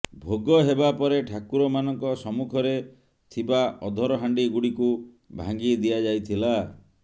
ଭୋଗ ହେବା ପରେ ଠାକୁର ମାନଙ୍କ ସମ୍ମୁଖରେ ଥିବା ଅଧରହାଣ୍ଡି ଗୁଡିକୁ ଭାଙ୍ଗି ଦିଆଯାଇଥିଲା